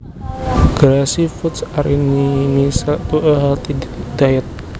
Greasy foods are inimical to a healthy diet